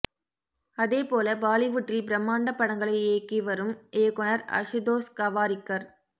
அதே போல பாலிவுட்டில் பிரம்மாண்ட படங்களை இயக்கி வரும் இயக்குநர் அசுதோஷ் கவாரிக்கர்